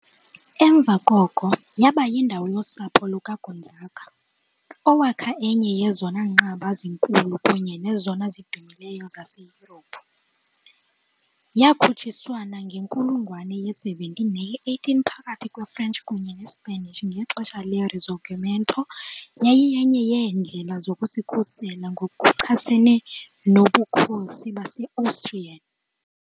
Emva koko yaba yindawo yosapho lukaGonzaga, owakha enye yezona nqaba zikhulu kunye nezona zidumileyo zaseYurophu. Yakhutshiswana ngenkulungwane ye-17 neye -18 phakathi kwe-French kunye ne-Spanish, ngexesha le- Risorgimento yayiyenye yeendlela zokuzikhusela ngokuchasene noBukhosi base-Austrian .